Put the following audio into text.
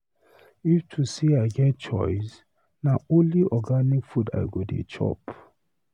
If to sey I get choice, na only organic food I go dey chop.